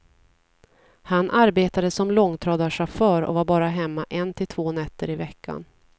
Han arbetade som långtradarchaufför och var bara hemma en till två nätter iveckan.